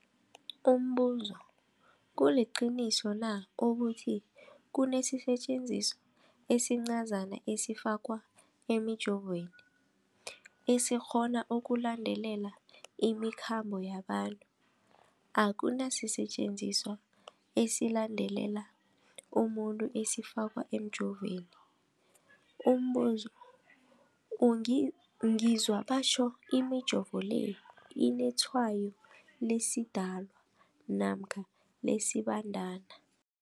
Umbuzo, kuliqiniso na ukuthi kunesisetjenziswa esincazana esifakwa emijovweni, esikghona ukulandelela imikhambo yabantu? Akuna sisetjenziswa esilandelela umuntu esifakwe emijoveni. Umbuzo, ngizwa batjho imijovo le inetshayo lesiDalwa namkha lesiBandana